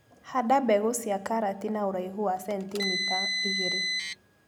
Handa mbegũ cia karati na ũraihu wa centimita igĩrĩ.